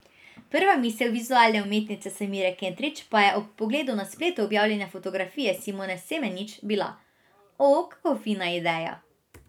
Prva misel vizualne umetnice Samire Kentrić pa je ob pogledu na spletu objavljene fotografije Simone Semenič bila: "O, kako fina ideja".